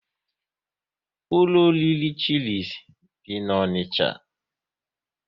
Ụlọ oriri Chilis dị n'Onicha